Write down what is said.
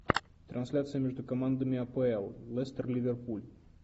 трансляция между командами апл лестер ливерпуль